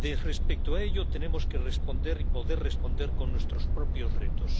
Respecto a ello tenemos que responder y poder responder con nuestros propios retos.